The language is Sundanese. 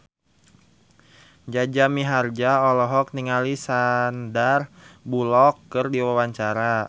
Jaja Mihardja olohok ningali Sandar Bullock keur diwawancara